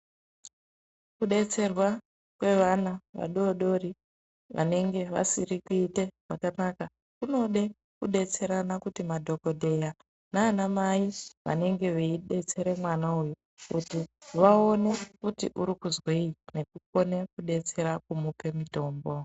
Kubetserwa kwevana vadodori vanenge vasiri kuite zvakanaka kunode kubetserana kuti ma dhokodheya nana mai vanenge veibetsere mwana uyu kuti vaone kuti urikuzwei nekukone kubetsera kumupe mitombo.